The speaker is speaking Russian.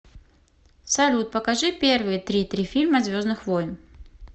салют покажи первые три три фильма звездных войн